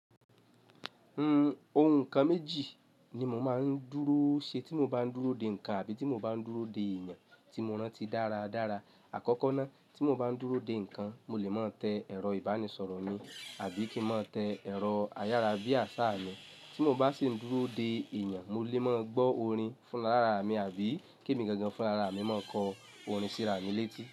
Ohun nǹkan méjì ni mo máa ń dúró ṣe tí mo bá ń dúró de nǹkan àbí tí mo bá ń dúró de èèyàn tí mo rántí dára dára. Àkọ́kọ́ ná, tí mo bá ń dúró de nǹkan, mo lè mọ tẹ ẹ̀rọ ìbánisọ̀rọ̀ mi àbí kí mọ tẹ ẹ̀rọ ayára bí àṣá mi. Tí mo bá sì ń dúró de èèyàn, mo lè mọ gbọ́ orin fúnra lára à mi àbí kí èmi gangan fúnra ra à mi mọ kọ orin síra mi létí.